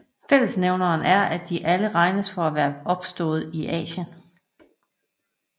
Fællesnævneren er at de alle regnes for at være opstået i Asien